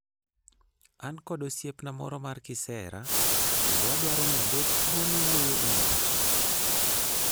An kod osiepna moro mar kisera, kendo adwaro ni abed thuolo wuoyo e wi wachno.